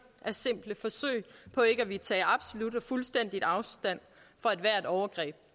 er simple forsøg på ikke at ville tage absolut og fuldstændig afstand fra ethvert overgreb